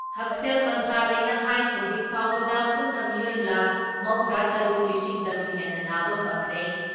ꯍꯛꯁꯦꯜ ꯃꯟꯇ꯭ꯔꯂꯌꯅ ꯍꯥꯏ ꯍꯧꯖꯤꯛ ꯐꯥꯎꯕꯗ ꯄꯨꯟꯅ ꯃꯤꯑꯣꯏ ꯂꯥꯈ ꯃꯧꯗ꯭ꯔꯤ ꯇꯔꯨꯛ ꯂꯤꯁꯤꯡ ꯇꯔꯨꯛ ꯍꯦꯟꯅ ꯅꯥꯕ ꯐꯈ꯭ꯔꯦ ꯫